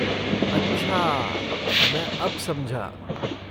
अच्छा, मैं अब समझा।